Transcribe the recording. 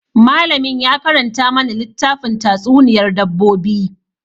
Malamin ya karanta mana littafin tatsuniyar dabbobi.